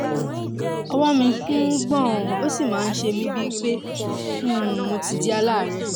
ọwọ́ mi ń um gbọ̀n ó sì máa ń ṣe mí bíi pé mí bíi pé um mo ti di aláàárẹ̀